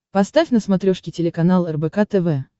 поставь на смотрешке телеканал рбк тв